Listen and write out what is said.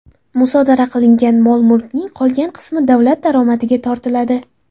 Musodara qilingan mol-mulkning qolgan qismi davlat daromadiga tortiladi.